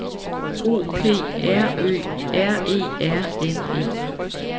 O P R Ø R E R N E